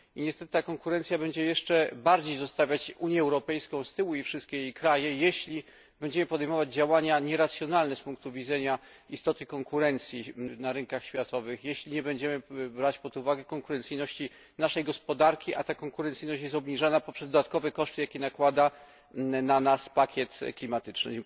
I niestety ta konkurencja będzie jeszcze bardziej zostawiać Unię Europejską z tyłu i wszystkie jej kraje, jeśli będziemy podejmować działania nieracjonalne z punktu widzenia istoty konkurencji na rynkach światowych, jeśli nie będziemy brać pod uwagę konkurencyjności naszej gospodarki, a ta konkurencyjność jest obniżana poprzez dodatkowe koszty, jakie nakłada na nas pakiet klimatyczny.